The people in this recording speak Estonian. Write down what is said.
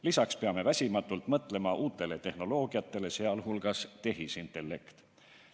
Lisaks peame väsimatult mõtlema uutele tehnoloogiatele, sh tehisintellektile.